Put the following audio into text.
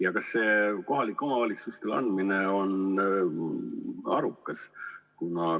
Ja kas selle õiguse kohalikule omavalitsusele andmine on arukas?